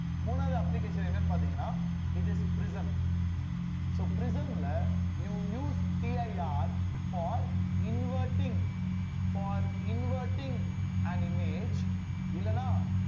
மூணாவது application என்னன்னு பார்த்தீங்கன்னா it is prism so prism ல you will useCIRfor inverting for inverting an image இல்லைன்னா